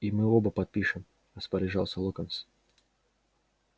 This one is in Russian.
и мы оба подпишем распоряжался локонс